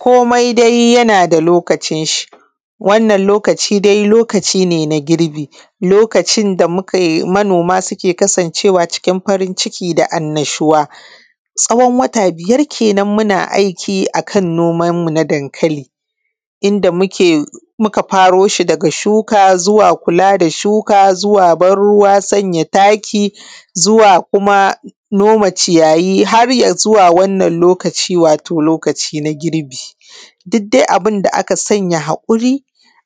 Komai dai yana da lokacin shi, wannan lokaci dai lokaci ne na girbi. Lokacin da mukai manoma suke kasancewa cikin farin ciki da annashuwa. Tsawon wata biyar kenan muna aiki a kan noman mu na dankali. Inda muka faro shi daga shuka zuwa kula da shuka zuwa ban ruwa zuwa sanya taki, zuwa kuma noma ciyayi har ya zuwa wannan lokaci wato lokaci na girbi. Dik dai abin da aka sanyawa haƙuri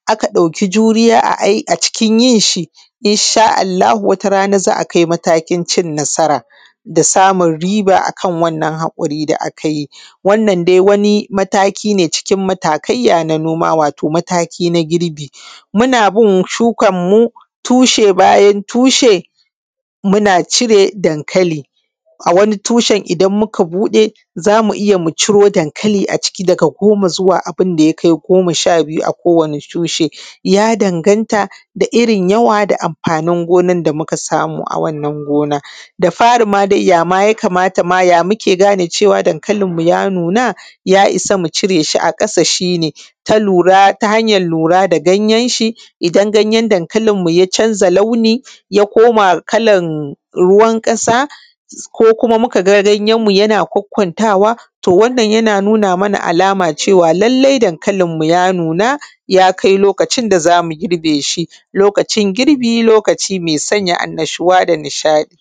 aka ɗauki juriya a cikin yin shi, insha Allahu wata rana za a kai matakin cin nasara, da samun riba akan wannan haƙuri da aka yt. Wannan dai wani mataki ne cikin matakaiya na noma wato mataki na girbi. Muna bin shukanmu tushe bayan tushe, muna cire dankali. A wani tushen idan muka buɗe za mu iya mu ciro dankali a ciki daga goma zuwa abin da ya kai goma sha biyu a kowane tushe. Ya danganta da irin yawa da irin amfanin gonan da muka samu a wannan gona. Da fari ya ma yakamata ma ya muke gane cewa dankalinmu ya nuna, ya isa mu cire shi a ƙasa shi ne ta lura ta hanyan lura da danyen shi, idan ganyen dankalinmu ya canza launi ya koma kalan ruwan ƙasa, ko kuma muka ganyenmu yana kwankkwantawa. To wnnan yana nuna mana alama cewa, lallai dankalinmu ya nuna, ya kai lokacin da za mu girbe shi. Lokacin girbi lokaci mai sanya annashuwa da nishaɗi.